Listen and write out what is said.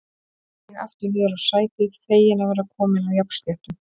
Ég seig aftur niður á sætið, feginn að vera kominn á jafnsléttu.